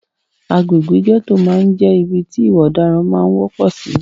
Agbègbè gẹ́tò máà ń jẹ́ ibi tí ìwà ọ̀daran máà ń wọ́pọ̀ sì.